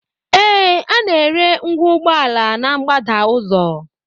Ee, a na-ere ngwa ụgbọala na mgbada ụzọ